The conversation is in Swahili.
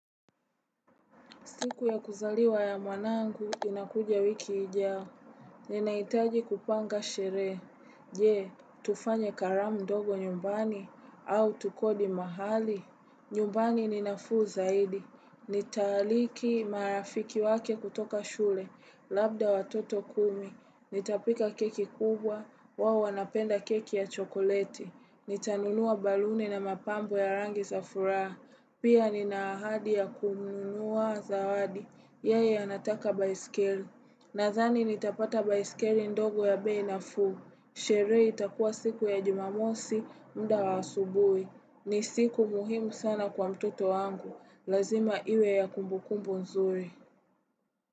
Siku ya kuzaliwa ya mwanangu, inakuja wiki ijayo. Ninaitaji kupanga sherehe. Je, tufanye karamu ndogo nyumbani, au tukodi mahali. Nyumbani ninafuu zaidi. Nitaalika marafiki zake kutoka shule, labda watoto kumi. Nitapika keki kubwa, wao wanapenda keki ya chokoleti. Nitanunua baluni na mapambo ya rangi za furaha. Pia ni na ahadi ya kununua zawadi, yeye anataka baisikeli. Nadhani nitapata baisikeli ndogo ya bei nafuu. Sherehe itakuwa siku ya jumamosi, muda wa asubuhi. Ni siku muhimu sana kwa mtoto wangu, lazima iwe ya kumbukumbu nzuri.